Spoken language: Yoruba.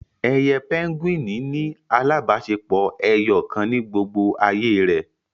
Ẹyẹ pẹ́ngúìnì ní alábáṣepọ ẹyọkan ní gbógbó àyè re.